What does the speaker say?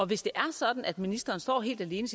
hvis det er sådan at ministeren står helt alene